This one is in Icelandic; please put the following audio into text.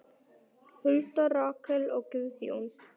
Hulda, Rakel og Guðjón.